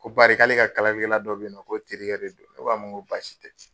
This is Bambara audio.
Ko bari k'ale ka kalalikɛla dɔ bɛ yennɔ ko terikɛ de don ne ko a ma n ko basi tɛ.